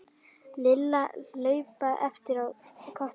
Lilla hlaupin á eftir Kötu.